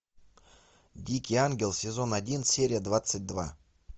дикий ангел сезон один серия двадцать два